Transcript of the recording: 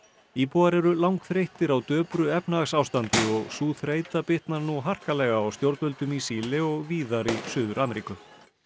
íbúar eru langþreyttir á döpru efnahagsástandi og sú þreyta bitnar nú harkalega á stjórnvöldum í Síle og víðar í Suður Ameríku